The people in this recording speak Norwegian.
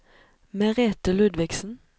Merethe Ludvigsen